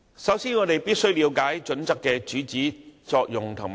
首先，我們必須了解《規劃標準》的主旨、作用及局限。